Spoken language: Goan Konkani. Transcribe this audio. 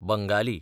बंगाली